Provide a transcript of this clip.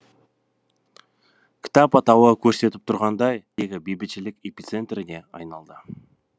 кітап атауы көрсетіп тұрғандай шын мәніндегі бейбітшілік эпицентріне айналды